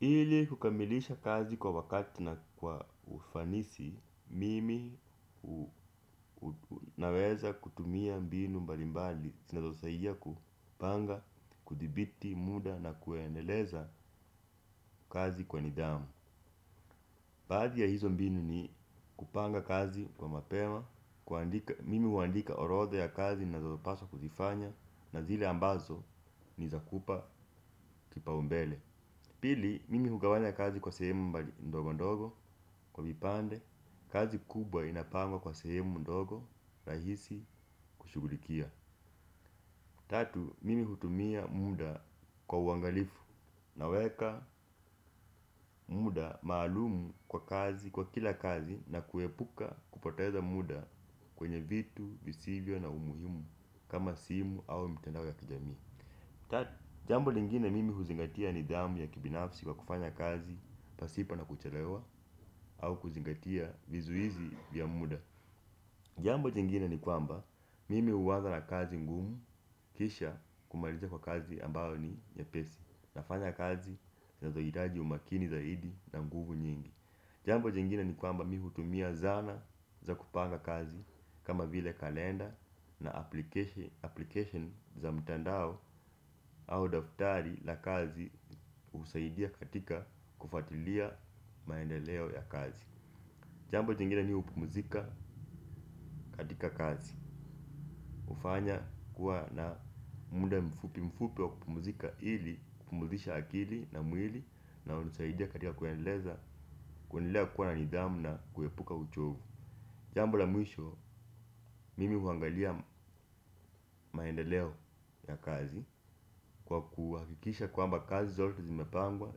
Ili kukamilisha kazi kwa wakati na kwa ufanisi, mimi naweza kutumia mbinu mbalimbali, zinazosaidia kupanga, kudhibiti, muda na kuendeleza kazi kwa nidhamu. Baqdhi ya hizo mbinu ni kupanga kazi kwa mapema, mimi huandika orodha ya kazi ninazopaswa kuzifanya na zile ambazo ni za kupa kipaumbele. Pili, mimi hugawanya kazi kwa sehemu ndogondogo kwa vipande kazi kubwa inapangwa kwa sehemu ndogo rahisi kushughulikia tatu, mimi hutumia muda kwa uangalifu, naweka muda maalum kwa kazi, kwa kila kazi na kuepuka kupoteza muda kwenye vitu, visivyo na umuhimu kama simu au mtandao ya kijamii. Tat, jambo lingine mimi huzingatia nidhamu ya kibinafsi kwa kufanya kazi pasipo na kuchelewa au kuzingatia vizuizi vya muda jambo jingine ni kwamba mimi huanza na kazi ngumu kisha kumalizia kwa kazi ambayo ni nyepesi nafanya kazi zinazohitaji umakini zaidi na nguvu nyingi jambo jingine ni kwamba mi hutumia zana za kupanga kazi kama vile kalenda na application za mtandao au daftari la kazi husaidia katika kufuatilia maendeleo ya kazi jambo jingine ni hupumzika katika kazi hufanya kuwa na muda mfupi mfupi wa kupumzika ili kupumzisha akili na mwili na hunisaidia katika kuendeleza kuendelea kuwa na nidhamu na kuepuka uchovu jambo la mwisho, mimi huangalia maendeleo ya kazi kwa kuhakikisha kwamba kazi zote zimepangwa,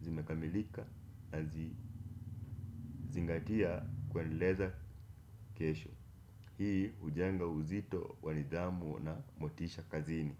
zimekamilika nazingatia kuendeleza kesho. Hii hujenga uzito wa nidhamu na motisha kazini.